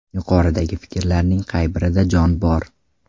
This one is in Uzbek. Yuqoridagi fikrlarning qay birida jon bor?